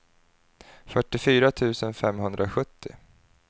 fyrtiofyra tusen femhundrasjuttio